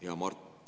Hea Mart!